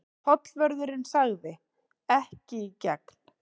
Tollvörðurinn sagði: Ekki í gegn.